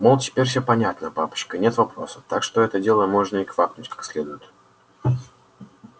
мол теперь всё понятно папочка нет вопросов так что за это дело можно и квакнуть как следует